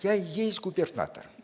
я и есть губернатор